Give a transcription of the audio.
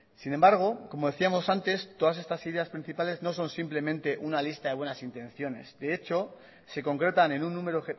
sin embargo como decíamos antes todas estas ideas principales no son simplemente una lista de buenas intenciones de hecho se concretan en un número